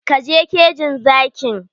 Ka je kejin zakin!